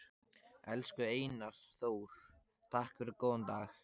Elsku Einar Þór, takk fyrir góðan dag.